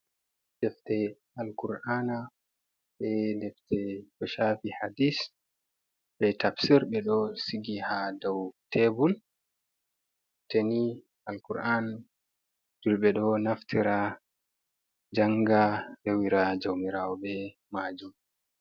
Defte al kur'ana, be defte koshafi hadis be tabsir. Ɓe ɗo sigi ha dau tebur. Teftereni Alkur'ana julɓe ɗo naftira janga rewira jaumirawo be majum.